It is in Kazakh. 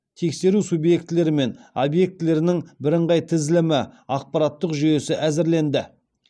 тексеру субъектілері мен объектілерінің бірыңғай тізілімі ақпараттық жүйесі әзірленді